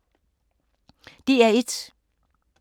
DR1